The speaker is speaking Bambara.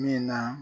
Min na